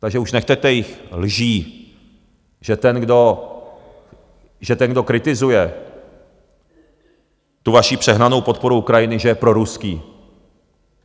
Takže už nechte těch lží, že ten, kdo kritizuje tu vaši přehnanou podporu Ukrajiny, že je proruský.